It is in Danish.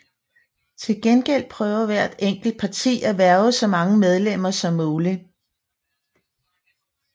Til gengæld prøver hvert enkelt parti at hverve så mange medlemmer som muligt